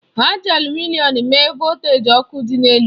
Ha ji alumịnịọn mee voltaji ọkụ dị elu.